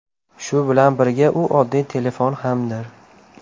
Shu bilan birga u oddiy telefon hamdir.